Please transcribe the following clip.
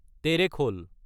তেৰেখল